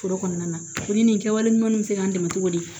Foro kɔnɔna na ko ni nin kɛwale ɲuman bɛ se ka dɛmɛ cogo di